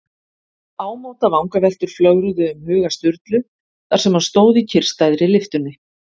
Ámóta vangaveltur flögruðu um huga Sturlu þar sem hann stóð í kyrrstæðri lyftunni.